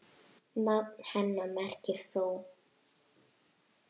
Nafn hennar merkir frú.